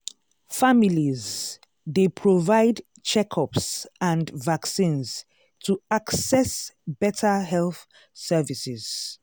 families dey provide checkups and vaccines to access better health services.